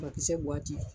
Makisɛ